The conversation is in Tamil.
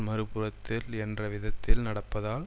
மறு புறத்தில் என்ற விதத்தில் நடப்பதால்